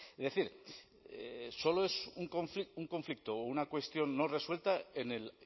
es decir solo es un conflicto o una cuestión no resuelta en el